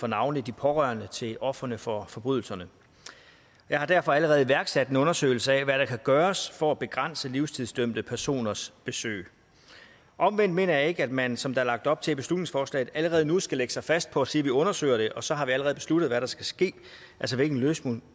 navnlig de pårørende til ofrene for forbrydelserne jeg har derfor allerede iværksat en undersøgelse af hvad der kan gøres for at begrænse livstidsdømte personers besøg omvendt mener jeg ikke at man som der er lagt op til i beslutningsforslaget allerede nu skal lægge sig fast på at sige at vi undersøger det og så har vi allerede besluttet hvad der skal ske altså hvilken